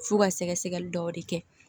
F'u ka sɛgɛsɛgɛli dɔw de kɛ